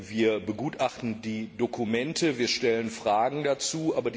Wir begutachten die Dokumente, wir stellen Fragen dazu.